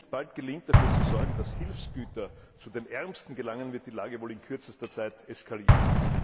Wenn es nicht bald gelingt, dafür zu sorgen, dass Hilfsgüter zu den Ärmsten gelangen, wird die Lage wohl in kürzester Zeit eskalieren.